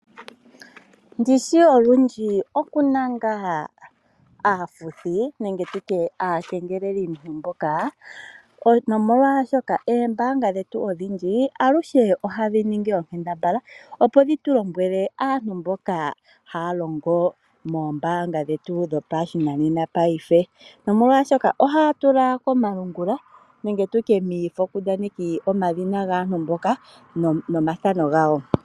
Ndishi olundji okuna ngaa aafuthi nenge tutye aakengelelimuntu mboka. Nomolwashoka Oombaanga dhetu olundji aluhe ohadhi ningi onkambadhala opo dhitu lombwele aantu mboka haya longo moombaanga dhetu dho pashinanena paife. Nomolwaashoka ohaya tula komalungula nenge tutye miifokundaneki omadhina gaantu mboka no mathano gawo.